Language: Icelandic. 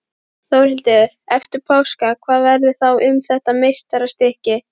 Þórhildur: Eftir páska, hvað verður þá um þetta meistarastykki?